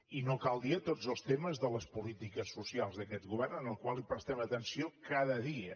i no cal dir a tots els temes de les polítiques socials d’aquest govern als quals prestem atenció cada dia